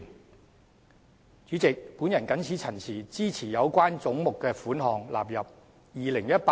代理主席，我謹此陳辭，支持將有關總目的款額納入《2018年撥款條例草案》。